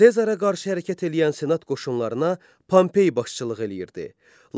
Sezara qarşı hərəkət eləyən senat qoşunlarına Pompey başçılıq eləyirdi.